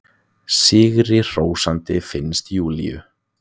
Sigrihrósandi, finnst Júlíu.